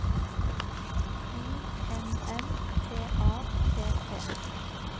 I N N T A T T